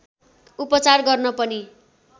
उपचार गर्न पनि